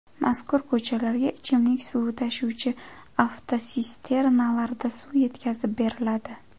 Mazkur ko‘chalarga ichimlik suvi tashuvchi avtotsisternalarda suv yetkazib beriladi.